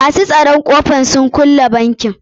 Masu tsoron a ƙofar sun kulle bankin.